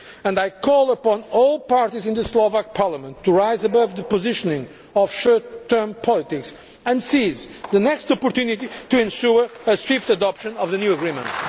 And I call upon all parties in the Slovak Parliament to rise above the positioning of short term politics and to seize the next opportunity to ensure a swift adoption of the new agreement.